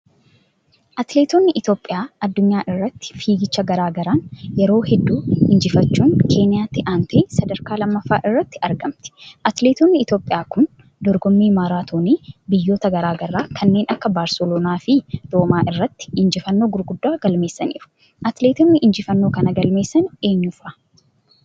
Atileetonni Itoophiyaa addunyaa irratti fiigichaa garagaraan yeroo hedduu injifachuun Keeniyaatti aantee sadarkaa lammaffaa irratti argamti. Atileetonni Itoophiyaa kun dorgommii maraatoonii biyyotaa garagaraa kanneen akka Barsaloonaa fi Roomaa irratti ijjifannoo gurguddoo galmeessaniru. Atileetonni injifannoo kana galmeessan eenyu fa'a?